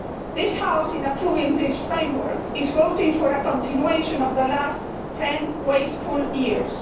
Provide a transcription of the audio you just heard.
This House, in approving this framework, is voting for a continuation of the last ten wasteful years.